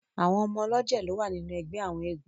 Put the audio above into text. Àwọn ọmọ ọlọ́jẹ̀ lo wà nínú ẹgbẹ àwọn eégún.